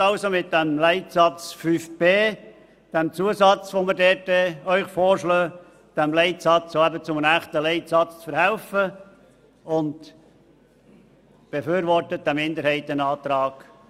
Machen Sie aus dem Leitsatz 5b mit dem vorgeschlagenen Zusatz einen echten Leitsatz und befürworten Sie den Minderheitenantrag.